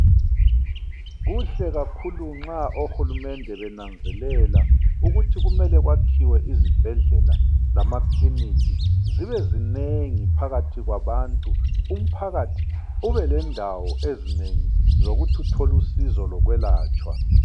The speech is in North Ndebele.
Kuhle kakhulu nxa ohulumende benanzelela ukuthi kumele kwakhiwe izibhedlela lamaclinic, zibezinengi phakathi kwabantu umphakathi ube lendawo ezinengi zokuthi uthole usizo lokwelatshwa